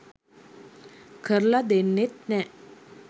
කරලා දෙන්නෙත් නෑ.